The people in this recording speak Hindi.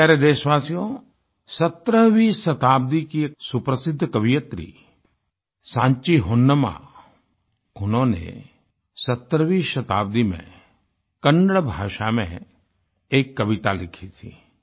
मेरे प्यारे देशवासियो 17वीं शताब्दी की सुप्रसिद्ध कवयित्री साँची होनम्मा सांची होन्नम्मा उन्होंने 17वीं शताब्दी में कन्नड़ भाषा में एक कविता लिखी थी